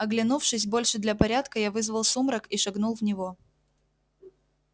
оглянувшись больше для порядка я вызвал сумрак и шагнул в него